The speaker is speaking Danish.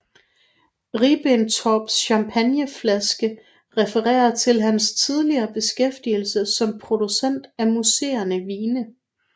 Ribbentrops champagneflaske refererer til hans tidligere beskæftigelse som producent af musserende vine